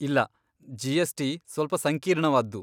ಇಲ್ಲ, ಜಿ.ಎಸ್.ಟಿ. ಸ್ವಲ್ಪ ಸಂಕೀರ್ಣವಾದ್ದು.